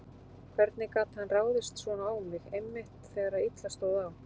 Hvernig gat hann ráðist svona á mig, einmitt þegar illa stóð á?